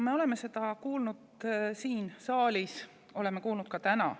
Me oleme neid kuulnud siin saalis enne, oleme neid kuulnud ka täna.